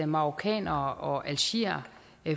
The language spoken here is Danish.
marokkanere og algeriere